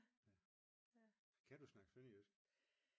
Kan du snakke sønderjysk?